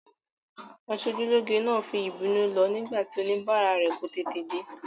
Aṣojúlóge náà fi ìbínú lọ nígbà tí oníbàárà rẹ̀ kò tètè dé.